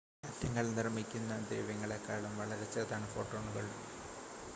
ആറ്റങ്ങൾ നിർമ്മിക്കുന്ന ദ്രവ്യങ്ങളെക്കാളും വളരെ ചെറുതാണ് ഫോട്ടോണുകൾ